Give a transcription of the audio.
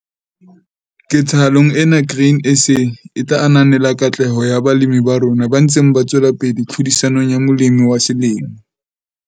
Sebedisa ole kapa grease dikarolwaneng tsohle tse sebetsang, tse kang di-bearing le di-shaft.